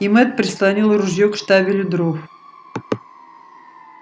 и мэтт прислонил ружьё к штабелю дров